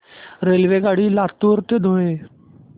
रेल्वेगाडी लातूर ते धुळे